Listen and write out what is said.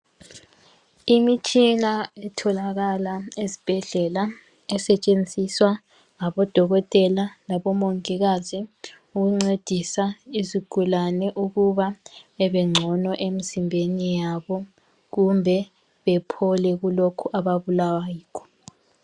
Imitshina etholakala ezibhedlela esetshenziswa ngabodokotela labomongikazi ukuncedisa izigulane ukuba bebengcono emzimbeni yabo kumbe bephole kulokho ababulawa yikho.